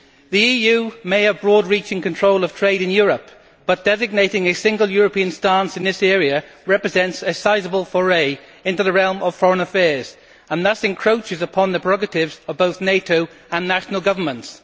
The EU may have broad reaching control of trade in Europe, but designating a single European stance in this area represents a sizeable foray into the realm of foreign affairs and thus encroaches upon the prerogatives of both NATO and national governments.